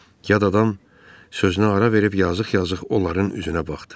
Yad adam sözünə ara verib yazıq-yazıq onların üzünə baxdı.